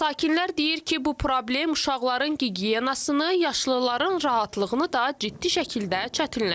Sakinlər deyir ki, bu problem uşaqların gigiyenasını, yaşlıların rahatlığını da ciddi şəkildə çətinləşdirib.